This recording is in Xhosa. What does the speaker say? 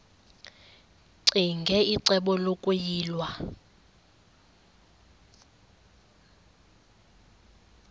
ccinge icebo lokuyilwa